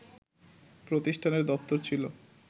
প্রতিষ্ঠানের দপ্তর ছিল